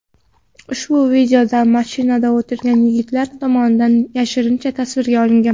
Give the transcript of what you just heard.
Ushbu videoda mashinada o‘tirgan yigitlar tomonidan yashirincha tasvirga olingan.